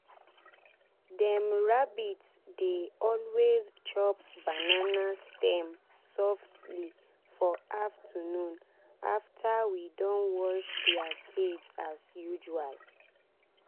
dem rabbit dey always chop banana stem softly for afternoon after we don wash dia cage as usual.